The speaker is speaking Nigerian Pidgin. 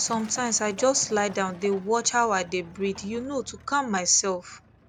sometimes i just lie down dey watch how i dey breathe you know to calm myself